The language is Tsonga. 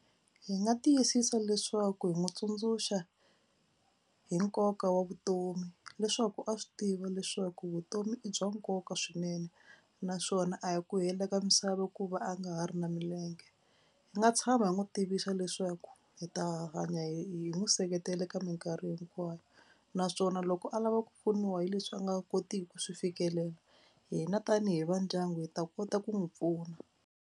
Hi nga tiyisisa leswaku hi n'wi tsundzuxa hi nkoka wa vutomi leswaku a swi tiva leswaku vutomi i bya nkoka swinene naswona a hi ku hela ka misava ku va a nga ha ri na milenge. Hi nga tshama hi n'wi tivisa leswaku hi ta hanya hi n'wi seketela ka mikarhi hinkwayo naswona loko a lava ku pfuniwa hi leswi a nga kotiki ku swi fikelela hina tanihi va ndyangu hi ta kota ku n'wi pfuna.